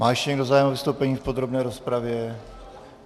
Má ještě někdo zájem o vystoupení v podrobné rozpravě?